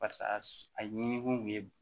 Parisa a ɲini kun ye